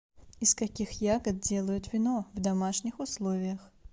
из каких ягод делают вино в домашних условиях